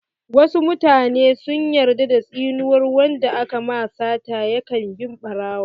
Wasu mutane sun yarda da tsinuwar wanda aka ma sata ya kan bi ɓarawo.